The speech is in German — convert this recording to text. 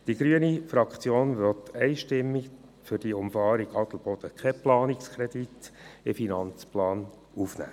Die grüne Fraktion ist einstimmig dagegen, für diese Umfahrung einen Planungskredit in den Finanzplan aufzunehmen.